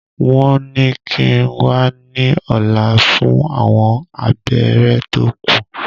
Wọ́n ní kíi n wá ní ọ̀la fún àwọn abẹ́rẹ́ tó kù